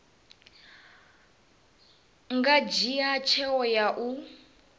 nga dzhia tsheo ya u